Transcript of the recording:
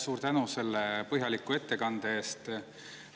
Suur tänu selle põhjaliku ettekande eest!